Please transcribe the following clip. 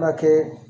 Furakɛ